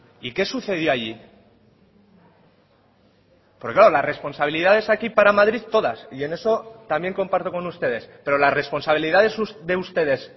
y qué sucedió allí porque claro las responsabilidades aquí para madrid todas y en eso también comparto con ustedes pero las responsabilidades de ustedes